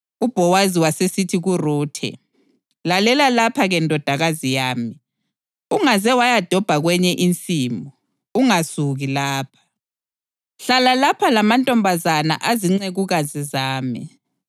UBhowazi wasesithi kuRuthe, “Lalela lapha-ke ndodakazi yami. Ungaze wayadobha kwenye insimu, ungasuki lapha. Hlala lapha lamantombazana azincekukazi zami.